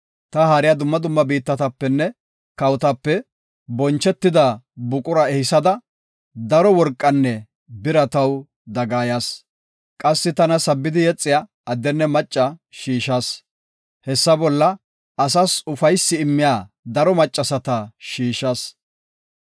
Ta haariya dumma dumma biittatapenne kawotape bonchetida buqura ehisada, daro worqanne bira taw dagayaas. Qassi, tana sabbidi yexiya addenne macca shiishas; hessa bolla, asas ufaysi immiya daro maccasata shiishas.